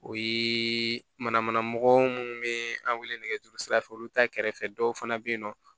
O ye manamana mɔgɔ minnu bɛ an wele nɛgɛjuru sira fɛ olu ta kɛrɛfɛ dɔw fana bɛ yen nɔ